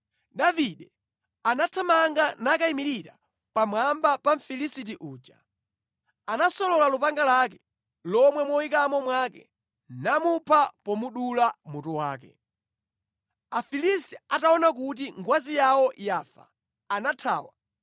Davide anathamanga nakayimirira pamwamba pa Mfilisiti uja. Anasolola lupanga lake lomwe moyikamo mwake, namupha pomudula mutu wake. Afilisti ataona kuti ngwazi yawo yafa, anathawa.